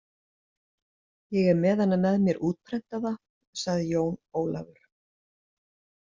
Ég er með hana með mér útprentaða, sagði Jón Ólafur.